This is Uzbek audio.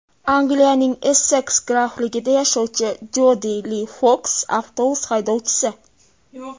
Angliyaning Esseks grafligida yashovchi Jodi Li Foks avtobus haydovchisi.